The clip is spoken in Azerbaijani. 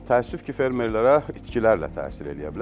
Təəssüf ki, fermerlərə itkilərlə təsir eləyə bilər.